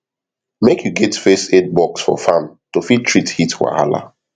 make u get first aid box for farm to fit treat heat wahala